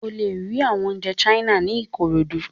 O le ri awọn ounjẹ China ni Ikorodu